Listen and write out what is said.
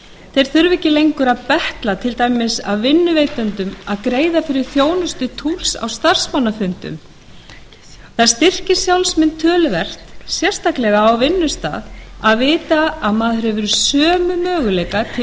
þeir þurfa ekki lengur að betla af til dæmis vinnuveitendum að þeir greiði fyrir þjónustu túlks á starfsmannafundum það styrkir sjálfsmynd töluvert sérstaklega á vinnustað að vita að maður hefur sömu möguleika til bæði